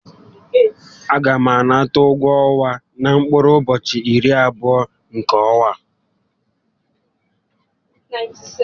A gá m anata ụgwọ ọnwa m na mkpụrụ ụbọchị irí abụọ nkè ọ́nwá á